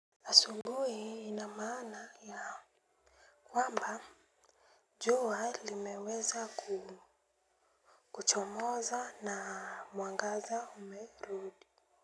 Asubuhi inamaana ya kwamba jua limeweza kuchomoza na mwangaza umerudi.